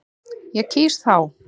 Ég kýs þá.